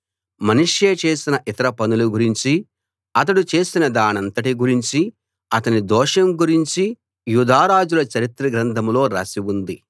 మనష్షే చేసిన ఇతర పనుల గురించి అతడు చేసిన దానంతటి గురించి అతని దోషం గురించి యూదారాజుల చరిత్ర గ్రంథంలో రాసి ఉంది